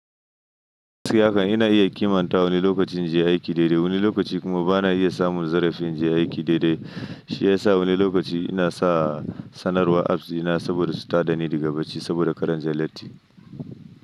Yanzu haka ina iya kimanta wani lokacin inje aiki daidai, wani lokaci kuma bana iya samun zarafin inje aiki daidai. Shi ya sa wani lokaci ina sa sanarwar apps dina saboda su tada ni daga bacci saboda kar inje latti.